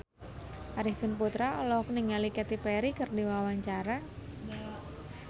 Arifin Putra olohok ningali Katy Perry keur diwawancara